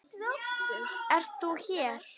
Ert þú hér!